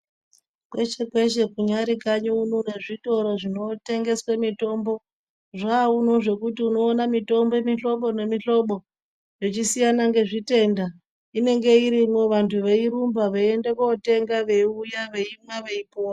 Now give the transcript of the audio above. Kweshe-kweshe kunyaari kanyi uno nezvitoro zvinotengeswe mitombo zvaauno zvekuti unoona mitombo mihlobo nemihlobo zvechisiyana ngezvitenda inenge irimwo vantu veirumba veiende kootenga veiuya, veimwa veipora.